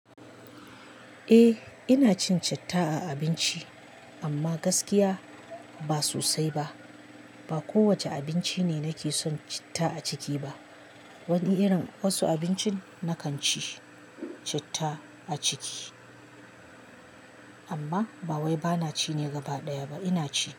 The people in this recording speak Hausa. Eh ina cin citta a abinci amma gaskiya ba sosai ba. Ba kowacce abinci ne nake son citta a ciki ba. Wani irin, wasu abincin na kan ci citta a ciki amma ba wai bana ci ne gaba ɗaya ba. Ina ci.